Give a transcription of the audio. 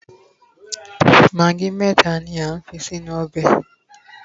magi meta ni a fi sí inú ọbè